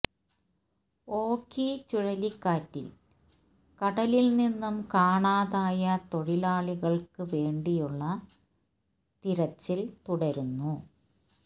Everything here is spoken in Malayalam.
ഓഖി ചുഴലിക്കാറ്റിൽ കടലിൽ നിന്നും കാണാതായ തൊഴിലാളികൾക്ക് വേണ്ടിയുള്ള തിരച്ചിൽ തുടരുന്നു